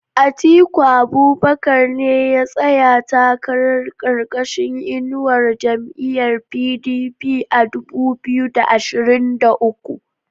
Atiku Abubakar ne ya tsaya takara karkashin inuwar jam'iyar PDP a dubu biyu da ashirin da uku